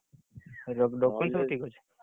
Document ସବୁ ଠିକ୍ ଅଛି।